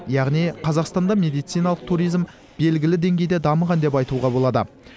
яғни қазақстанда медициналық туризм белгілі деңгейде дамыған деп айтуға болады